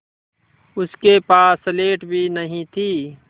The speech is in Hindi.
उसके पास स्लेट भी नहीं थी